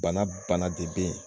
Bana bana de be yen